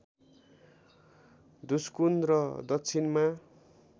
धुस्कुन र दक्षिणमा